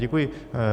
Děkuji.